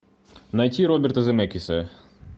найти роберта земекиса